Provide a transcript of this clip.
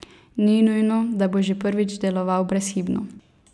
Ni nujno, da bo že prvič deloval brezhibno.